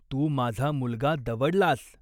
तू माझा मुलगा दवडलास.